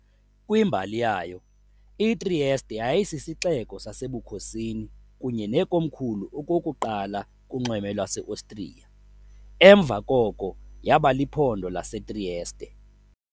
Kwimbali yayo, iTrieste yayisisixeko sasebukhosini kunye nekomkhulu okokuqala kunxweme lwaseOstriya, emva koko yaba liphondo laseTrieste.